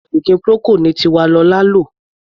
Oògùn ọ̀fìnkì Procold ni Tiwalolá ń lò.